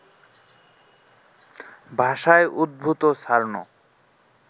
ভাষায় উদ্ভূত সার্নো